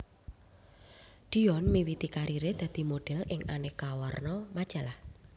Dion miwiti karire dadi model ing aneka warna majalah